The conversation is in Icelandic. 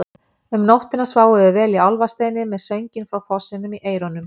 Um nóttina sváfum við vel í Álfasteini með sönginn frá fossinum í eyrunum.